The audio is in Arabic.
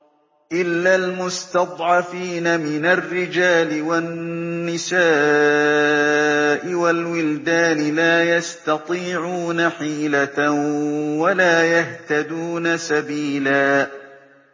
إِلَّا الْمُسْتَضْعَفِينَ مِنَ الرِّجَالِ وَالنِّسَاءِ وَالْوِلْدَانِ لَا يَسْتَطِيعُونَ حِيلَةً وَلَا يَهْتَدُونَ سَبِيلًا